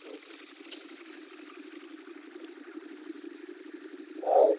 ଓହୋ ଆଉ